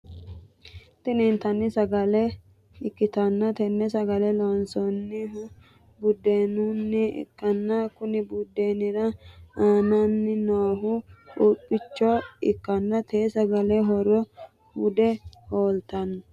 Tini inttanni sagale ikkitanna tenne sagale loonsoonihu budeenunni ikkanna Konni budeenira anaanni noohu quuphichcho ikkanna te sagale horono hude holate